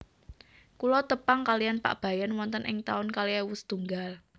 Kulo tepang kaliyan Pak Bayan wonten ing taun kalih ewu setunggal